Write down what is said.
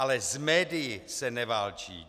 Ale s médii se neválčí.